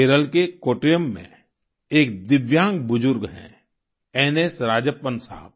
केरल के कोट्टयम में एक दिव्यांग बुजुर्ग हैं एनएस राजप्पन साहब